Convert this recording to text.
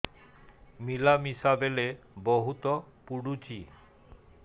ମିଳାମିଶା ବେଳେ ବହୁତ ପୁଡୁଚି